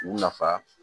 U nafa